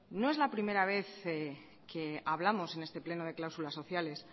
no es la primera vez que hablamos en este pleno de cláusulas sociales